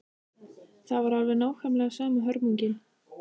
Það var alveg nákvæmlega sama hörmungin.